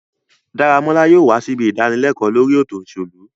Daramola yóò wa sibi idanileko lori eto oselu